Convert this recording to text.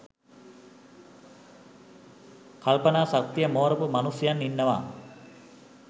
කල්පනා ශක්තිය මෝරපු මනුෂ්‍යයන් ඉන්නවා